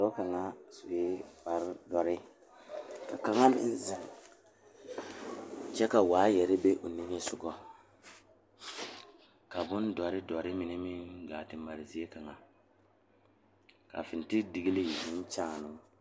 Dɔɔ kaŋa are la pegle bɔtuloŋ kaa pɔge are kaa zu waa pelaa su kpare ziɛ kaa bamine meŋ teɛ ba nuure kyɛ ba a wire ba nyɛmɛ.